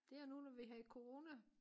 Der nu når vi havde corona